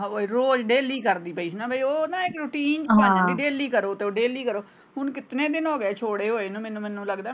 ਉਹ ਰੋਜ਼ daily ਕਰਦੀ ਪਈ ਸੀ ਉਹ ਨਾ ਇੱਕ routine daily ਕਰੋ daily ਕਰੋ ਮੈਨੂੰ ਕਿਤਨੇ ਦਿਨ ਹੋਗਏ ਛੋੜੇ ਹੋਏ ਨੂੰ ਮੈਨੂੰ।